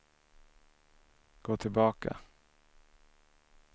gå tillbaka